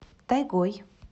тайгой